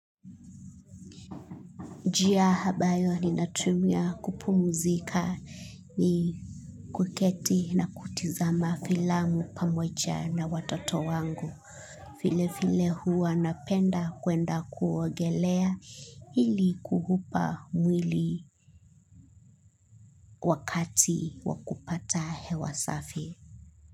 Njia ambayo ninatumia kupumzika ni kuketi na kutizama filamu pamoja na watoto wangu. Vile vile huwa napenda kwenda kuogelea ili kuuupa mwili wakati wa kupata hewa safi.